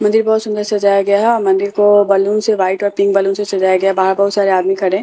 मंदिर बहुत सुंदर सजाया गया है और मंदिर को बलून से वाइट और पिंक बलून से सजाया गया है बाहर बहुत सारे आदमी खड़े हैं।